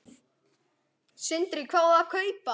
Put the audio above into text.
Sindri: Hvað á að kaupa?